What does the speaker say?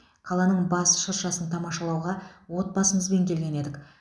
қаланың бас шыршасын тамашалауға отбасымызбен келген едік